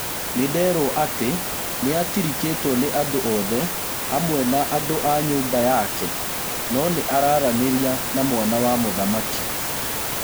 Nĩnderwo atĩ nĩatirikĩtwo nĩ andũothe hamwe na andũa nyũmba yake, no araranĩria na mwana wa mũthamaki.